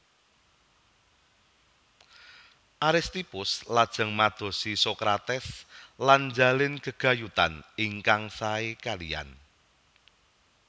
Aristippus lajeng madosi Sokrates lan njalin gegayutan ingkang sae kaliyan